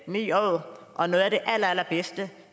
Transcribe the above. ni år og noget af det allerallerbedste